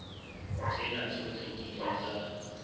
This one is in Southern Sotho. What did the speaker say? tsena tsohle di ile tsa